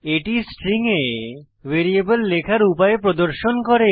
এটি স্ট্রিং এ ভ্যারিয়েবল লেখার উপায় প্রদর্শন করে